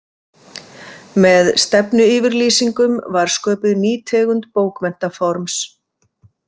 Með stefnuyfirlýsingum var sköpuð ný tegund bókmenntaforms.